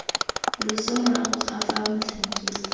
loso morago ga fa motlhankedi